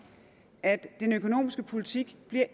at den økonomiske politik